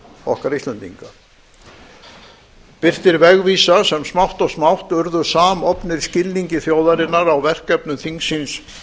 okkar íslendinga birtir vegvísa sem smátt og smátt urðu samofnir skilningi þjóðarinnar á verkefnum þingsins